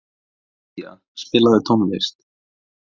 Gyðja, spilaðu tónlist.